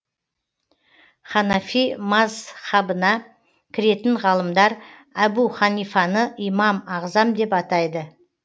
ханафи мазһабына кіретін ғалымдар әбу ханифаны имам ағзам деп атайды